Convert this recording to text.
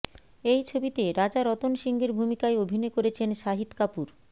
এই ছবিতে রাজা রতন সিংহের ভূমিকায় অভিনয় করেছেন শাহিদ কপূর